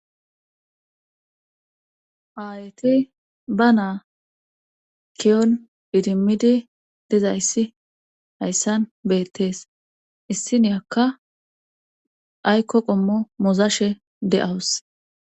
Aayti ba naa kiyon didimmidi dizayssi hayssan beettees issiniyakka aykko qommo muzashe de7awus.